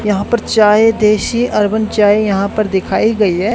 यहां पर चाय देसी अर्बन चाय यहां पर दिखाई गई है।